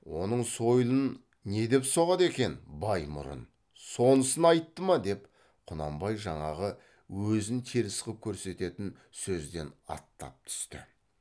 оның сойылын не деп соғады екен баймұрын сонысын айтты ма деп құнанбай жаңағы өзін теріс қып көрсететін сөзден аттап түсті